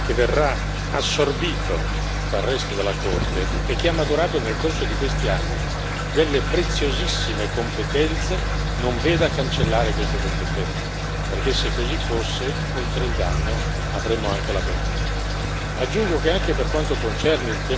che verrà assorbito dal resto della Corte e che ha maturato nel corso di questi anni delle preziosissime competenze, non veda cancellare queste competenze, perché se così fosse oltre al danno avremmo anche la beffa.